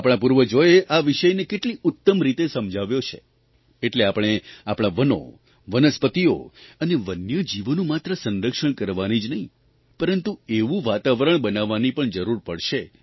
આપણા પૂર્વજોએ આ વિષયને કેટલી ઉત્તમ રીતે સમજાવ્યો છે એટલે આપણે આપણા વનો વનસ્પતિઓ અને વન્યજીવોનું માત્ર સંરક્ષણ કરવાની જ નહિં પરંતુ એવું વાતાવરણ બનાવવાની પણ જરૂર પડશે